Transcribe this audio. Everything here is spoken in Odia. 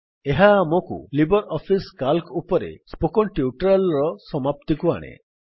ଏହା ଆମକୁ ଲିବର୍ ଅଫିସ୍ ସିଏଏଲସି ଉପରେ ସ୍ପୋକେନ୍ ଟ୍ୟୁଟୋରିଆଲ୍ ର ସମାପ୍ତିକୁ ଆଣେ